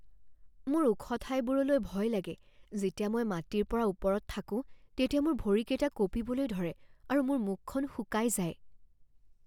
মোৰ ওখ ঠাইবোৰলৈ ভয় লাগে। যেতিয়া মই মাটিৰ পৰা ওপৰত থাকোঁ তেতিয়া মোৰ ভৰিকেইটা কঁপিবলৈ ধৰে আৰু মোৰ মুখখন শুকাই যায়।